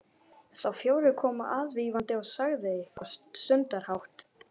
Sá fjórði kom aðvífandi og sagði eitthvað stundarhátt.